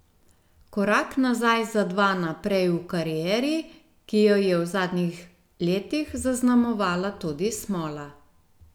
Korak nazaj za dva naprej v karieri, ki jo je v zadnjih letih zaznamovala tudi smola.